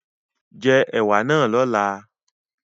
Jẹ ẹ̀wà náà lọ́la